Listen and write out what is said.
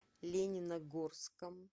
лениногорском